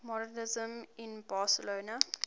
modernisme in barcelona